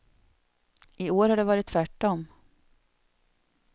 I år har det varit tvärtom.